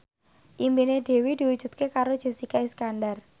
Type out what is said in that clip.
impine Dewi diwujudke karo Jessica Iskandar